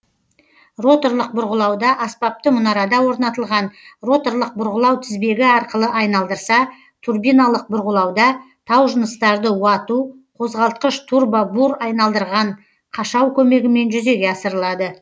роторлық бұрғылауда аспапты мұнарада орнатылған роторлық бұрғылау тізбегі арқылы айналдырса тұрбиналық бұрғылауда таужыныстарды уату қозғалтқыш турбобур айналдырған қашау көмегімен жүзеге асырылады